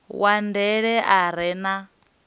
wa ndele a re na